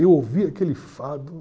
Eu ouvi aquele fado.